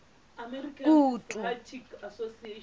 kutu